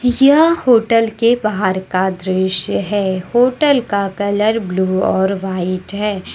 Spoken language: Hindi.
यह होटल के बाहर का दृश्य है होटल का कलर ब्लू और वाइट है।